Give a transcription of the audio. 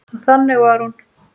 Og þannig var hún.